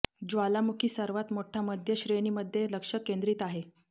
ज्वालामुखी सर्वात मोठा मध्य श्रेणी मध्ये लक्ष केंद्रित आहे